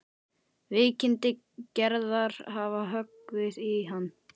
Veikindi Gerðar hafa höggvið í hann.